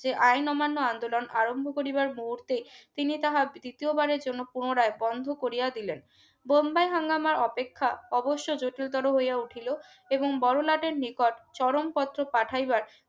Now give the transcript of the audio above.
যে আইন অমান্য আন্দোলন আরম্ভ করিবার মুহূর্তে তিনি তাহার দ্বিতীয় বারের জন্য পুনরায় বন্ধ করিয়া দিলেন বোম্বাই হাঙ্গামা অপেক্ষা অবশ্যই জটিলতর হইয়া উঠিল এবং বড়লাটের নিকট চরমপত্র পাঠাইবার